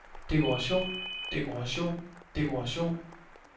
dekoration dekoration dekoration